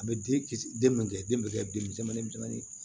A bɛ den kisi den mɔkɛ den bɛ kɛ den misɛnmanin misɛnnin